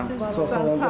Çox sağ olun, var olun.